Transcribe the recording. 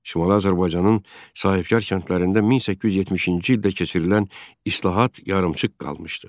Şimali Azərbaycanın sahibkar kəndlərində 1870-ci ildə keçirilən islahat yarımçıq qalmışdı.